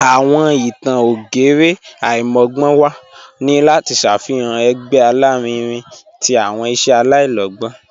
Awọn ìtàn ògérè aimọgbọnwa ni lati ṣáfihan ẹ̀gbẹ̀ alárìínrìn tí awọn iṣẹ̀ aláìlọ̀gbọn."